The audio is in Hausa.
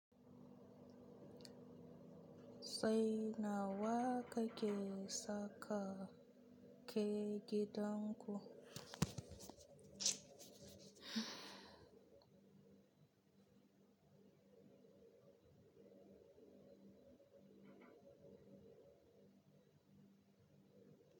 Sai nawa kake saka keke danko?